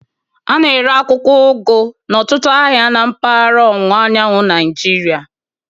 A na-ere akwụkwọ ugu n'ọtụtụ ahịa na mpaghara ọwụwa anyanwụ Nigeria